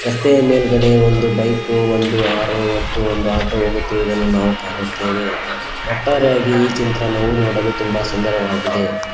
ರಸ್ತೆಯ ಮೇಲ್ಗಡೆ ಒಂದು ಬೈಕು ಒಂದು ಆರು ಮತ್ತು ಒಂದು ಆಟೋ ಹೋಗುತ್ತಿರುವುದನ್ನು ನಾವು ಕಾಣುತ್ತೇವೆ ಒಟ್ಟಾರೆಯಾಗಿ ಈ ಚಿತ್ರಣವು ನೋಡಲು ಸುಂದರವಾಗಿದೆ.